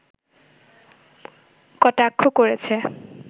কটাক্ষ করেছে